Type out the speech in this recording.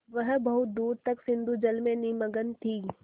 वह बहुत दूर तक सिंधुजल में निमग्न थी